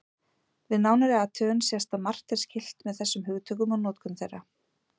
Við nánari athugun sést að margt er skylt með þessum hugtökum og notkun þeirra.